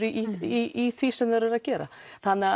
í því sem þeir eru að gera þannig